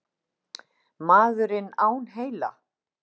Maðurinn án heila?